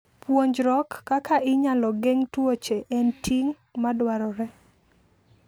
Puonjruok kaka inyalo geng' tuoche en ting' madwarore.